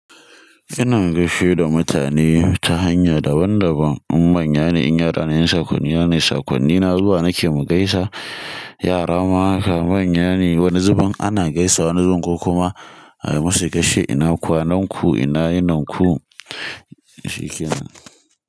Ina gaishe da mutane ta hanya daban daban, in manya ne in yara ne in sakonni na ne sakonnina zuwa nake mu gaisa. Yara ma haka manya ne wani zubin ana gaisawa wani zubin kuma ayi musu gashe ina kwanan ku ina yininku shikenan.